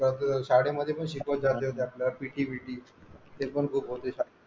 ते आपला शाळे मध्ये शिकवत जाते त्यातला ptbt ते पण खूप होते